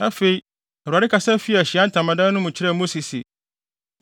Afei, Awurade kasa fii Ahyiae Ntamadan no mu kyerɛɛ Mose se,